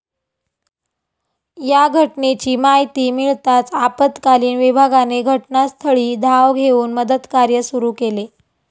या घटनेची माहिती मिळताच आपतकालीन विभागाने घटनास्थळी धाव घेऊन मदतकार्य सुरू केले.